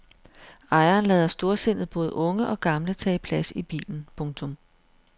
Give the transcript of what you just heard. Ejeren lader storsindet både unge og gamle tage plads i bilen. punktum